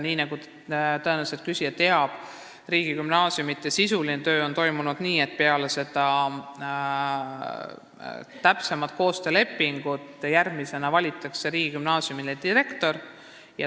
Nii nagu küsija tõenäoliselt teab, sisuline töö riigigümnaasiumidega on toimunud nii, et peale täpsema koostöölepingu sõlmimist valitakse riigigümnaasiumile direktor.